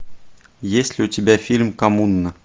есть ли у тебя фильм коммуна